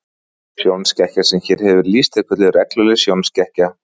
Sjónskekkja sem hér hefur verið lýst er kölluð regluleg sjónskekkja.